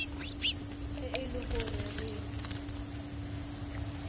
ge e le go re